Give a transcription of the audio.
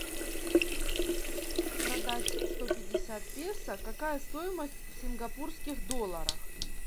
продать сто пятьдесят песо какая стоимость в сингапурских долларах